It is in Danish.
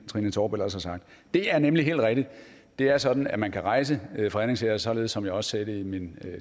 trine torp ellers har sagt det er nemlig helt rigtigt det er sådan at man kan rejse fredningssager således som jeg også sagde det i min